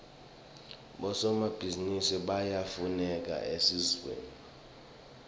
bosomabhizinisi bayafuneka esiveni